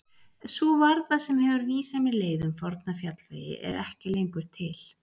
Sú varða sem hefur vísað mér leið um forna fjallvegi er ekki lengur til.